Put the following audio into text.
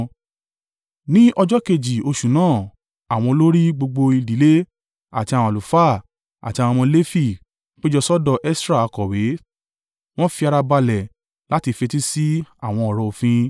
Ní ọjọ́ kejì oṣù náà, àwọn olórí, gbogbo ìdílé, àti àwọn àlùfáà àti àwọn ọmọ Lefi, péjọ sọ́dọ̀ Esra akọ̀wé, wọ́n fi ara balẹ̀ láti fetí sí àwọn ọ̀rọ̀ òfin.